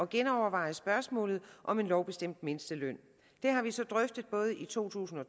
genoverveje spørgsmålet om en lovbestemt mindsteløn det har vi så drøftet både i to tusind og